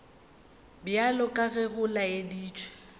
bjalo ka ge go laeditšwe